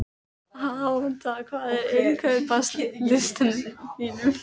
Alanta, hvað er á innkaupalistanum mínum?